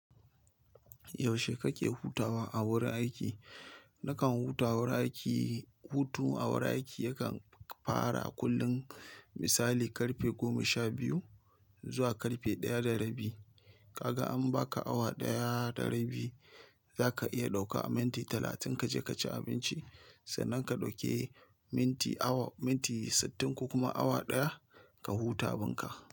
Yaushe kake hutawa a wurin aiki? Nakan huta wurin aiki, hutu a wurin aiki yakan fara kullum misali karfe goma sha biyu zuwa karfe daya da rabi. Kaga in baka awa ɗaya da rabi zaka iya ɗauka a minti talatin kaje kaci abinci. Sannan ka dauki minti sittin ko kuma awa daya ka huta abun ka.